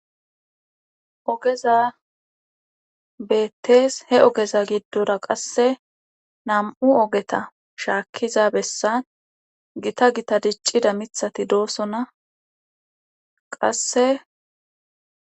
Ogeza beettees he ogeza giddora qasse nam7u ogeta shaakkiza bessan gita gita diccida mithati doosona qasse.